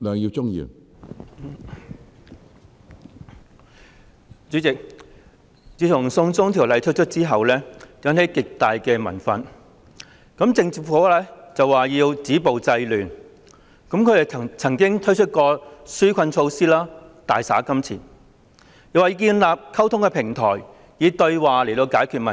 主席，自從"送中條例"推出後，引起極大民憤，政府說要"止暴制亂"，他們曾經推出紓困措施、大灑金錢，又說要建立溝通平台，以對話來解決問題。